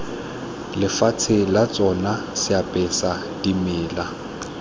lefatshe la tsona seapesa dimela